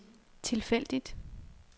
tilfældigt